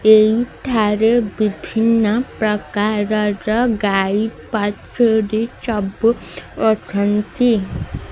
ଏଇ ଠାରେ ବିଭିନ୍ନ ପ୍ରକାର ର ଗାଈ ବାଛୁରୀ ସବୁ ଅଛନ୍ତି।